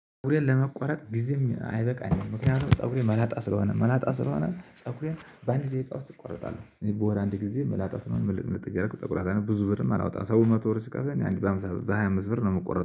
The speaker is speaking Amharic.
ፀጉሬን ለመቆረጥ ጊዜም አይበቃኝም። ምክንያቱም ፀጉሬ መላጣ ስለሆነ መላጣ ስለሆነ ፀጉሬን በአንድ ደቂቃ ውስጥ እቆረጣለሁ። እኔ በወር አንድ ጊዜ መላጣ ስለሆነ ምልጥ ምልጥ እያረኩ እቆረጣለሁ። ብዙ ብርም አላወጣም። ሰው መቶ ብር ስከፍለኝ አንድ በሃምሳ በሃያ አምስት ብር ነው የምቆረጠው